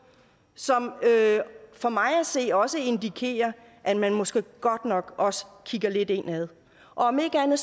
som for mig at se også indikerer at man måske godt nok også kigger lidt indad om ikke andet